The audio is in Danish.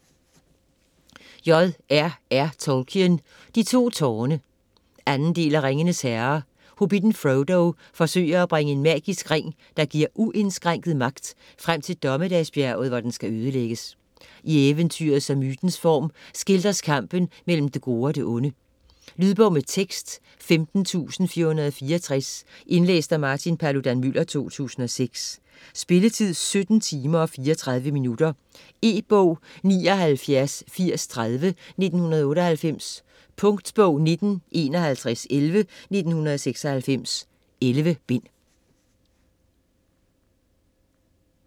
Tolkien, J. R. R.: De to tårne 2. del af Ringenes herre. Hobbitten Frodo forsøger at bringe en magisk ring, der giver uindskrænket magt, frem til Dommedagsbjerget, hvor den skal ødelægges. I eventyrets og mytens form skildres kampen mellem det gode og det onde. Lydbog med tekst 15464 Indlæst af Martin Paludan-Müller, 2006 Spilletid: 17 timer, 34 minutter. E-bog 798030 1998. Punktbog 195111 1996.11 bind.